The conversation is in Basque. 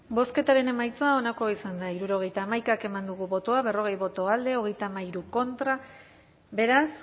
bozketaren emaitza onako izan da hirurogeita hamaika eman dugu bozka berrogei boto alde treinta y tres contra beraz